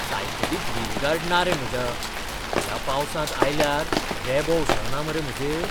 सायकलीक wheel guard ना रे म्हज्या. ह्या पावसांत आयल्यार रेबो उसळना मरे म्हजेर?